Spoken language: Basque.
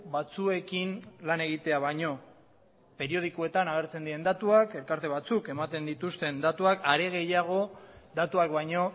batzuekin lan egitea baino periodikoetan agertzen diren datuak elkarte batzuk ematen dituzten datuak are gehiago datuak baino